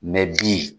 bi